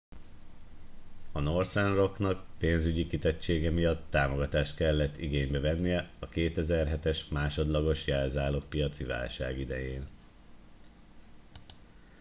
a northern rocknak ​pénzügyi kitettsége miatt támogatást kellett igénybe vennie a 2007-es másodlagos jelzálogpiaci válság idején